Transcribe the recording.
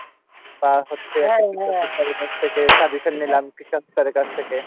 বা হচ্ছে থেকে suggestion নিলাম কৃষকদের কাছ থেকে।